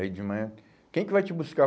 Aí de manhã, quem que vai te buscar?